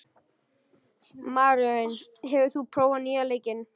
Maríon, hefur þú prófað nýja leikinn?